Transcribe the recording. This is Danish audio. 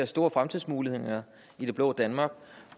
store fremtidsmuligheder i det blå danmark